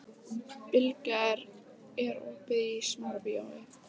Bylgja, er opið í Smárabíói?